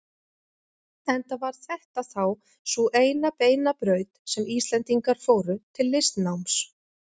Enda var þetta þá sú eina beina braut sem Íslendingar fóru til listnáms.